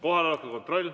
Kohaloleku kontroll.